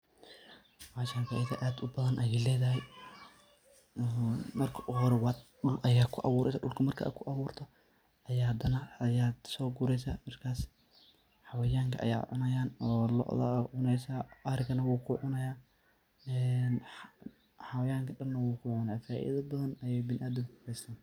Bashan faido ad ubadhan ayay ledahay, marki ugu hore dul ayad ku abureysa marka kuaburto ayad hadanah sogureysa markas xawanka aya cunayan lo'da aya cuneysa, ariganah wu kucunayah, xawanka dan nah wuu kucunah faida badhan ayu biniadamka kuhaystan.